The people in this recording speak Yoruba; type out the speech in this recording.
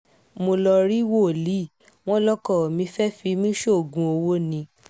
mo lọ́ọ́ rí wòlíì wọn lọkọ mi fẹ́ẹ́ fi mí sóògùn owó ni